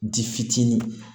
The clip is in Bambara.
Di fitinin